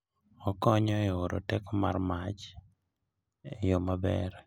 Okonyo e oro teko mar mach e yo maber.